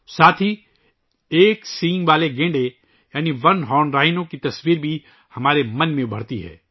اس کے ساتھ ہمارے ذہن میں ایک سینگ والے گینڈے یعنی ایک سینگ گینڈے کی تصویر بھی ابھرتی ہے